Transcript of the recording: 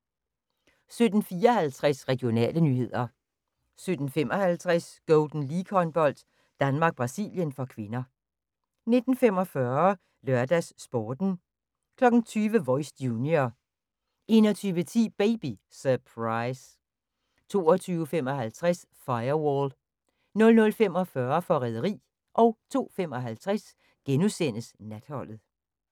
17:54: Regionale nyheder 17:55: Golden League-håndbold: Danmark-Brasilien (k) 19:45: LørdagsSporten 20:00: Voice – junior 21:10: Baby Surprise 22:55: Firewall 00:45: Forræderi 02:55: Natholdet *